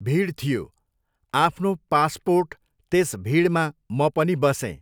भिड थियो, आफ्नो पासपोर्ट त्यस भिडमा म पनि बसेँ।